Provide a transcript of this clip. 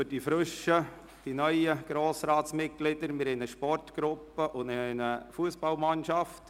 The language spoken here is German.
Für die neuen Mitglieder des Grossen Rats: Wir haben eine Sportgruppe und eine Fussballmannschaft.